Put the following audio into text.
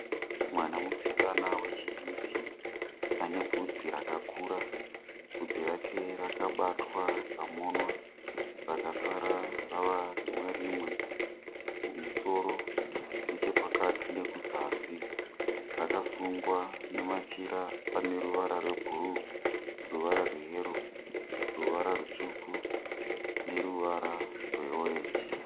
Mwana musikana wechidiki ane bvudzi rakakura. Bvudzi rake rakabatwa rikamonwa, rakasara rava rimwe rimwe kumusoro, nechepakati nekuzasi. Rakasungwa nemachira ane ruvara rwebhuruu, ruvara rweyero, ruvara rutsvuku neruvara rweorenji.